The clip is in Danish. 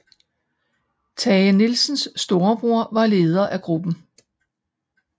Tage Nielsens storebror var leder af gruppen